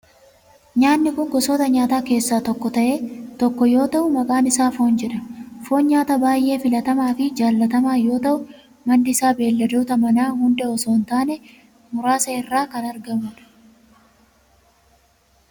Nyaatni kun gosoota nyaataa keessaa isa tokko yoo ta'u maqaan isaa foon jedhama. Foon nyaata baayyee filatamaa fi jaalatamaa yoo ta'u maddi isaa beelladoota manaa hunda osoo hin taane muraasa irraa kan argamudha.